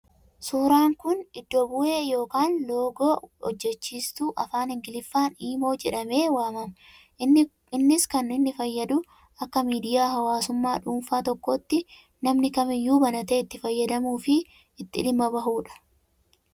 Suuraan kun, iddo bu'ee yookaan loogoo hojjechiistuu afaan Ingiliffaan Imo jedhamee waamama. Innis kan inni fayyadu akka miidiyaa hawaasummaa dhuunfaa tokkootti namni kamiyyuu banatee itti fayyadamuu fi itti dhimma bahudha.